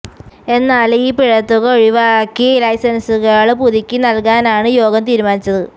എന്നാല് ഈ പിഴത്തുക ഒഴിവാക്കി ലൈസന്സുകള് പുതുക്കി നല്കാനാണ് യോഗം തീരുമാനിച്ചത്